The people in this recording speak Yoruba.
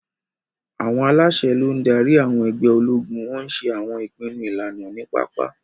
Àwọn aláṣẹ ló ń darí àwọn ẹgbẹ́ ológun, wọ́n ń ṣe àwọn ìpinnu ìlànà ní pápá.